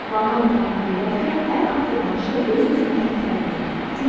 Vanna otağına gedərkən hər addımbaşı öz-özümə təkrarlayıram: Çox şükür.